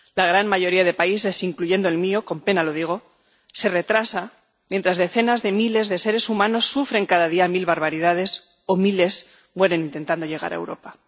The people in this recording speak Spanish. La gran mayoría de países, incluyendo el mío —con pena lo digo—, se retrasa mientras decenas de miles de seres humanos sufren cada día mil barbaridades o miles mueren intentando llegar a Europa.